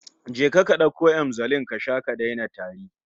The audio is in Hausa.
Je ka ka dauko Emzolin ka sha ka daina tari